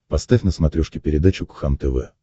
поставь на смотрешке передачу кхлм тв